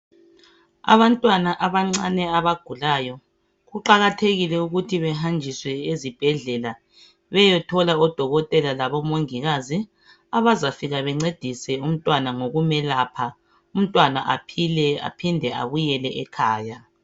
Abantwana abancane abagulayo kuqakathekile ukuthi behanjiswe ezibhedlela beyethola odokotela labo mongikazi abazafika bencedise umntwana ngokumelapha umntwana aphile aphinde abuyele ekhaya.